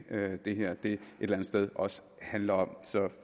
er det det her et eller andet sted også handler om så